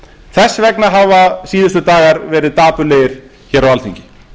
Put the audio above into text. þess vegna hafa síðustu dagar verið dapurlegir hér á alþingi